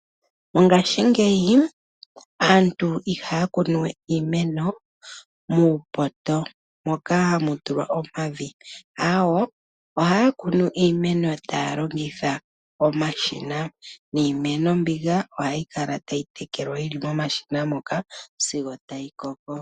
Mongashingeyi aantu ihaya kunu we iimeno muupoto moka hamu tulwa omavi aawo ohaya kunu iimeno taya longitha omashina niimeno mbika ohayi kala tayi tekelwa yili momashina sigo tayi koko.